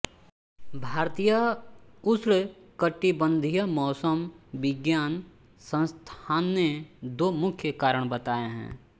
भारतीय उष्णकटिबंधीय मौसम विज्ञान संस्थान ने दो मुख्य कारण बताए हैं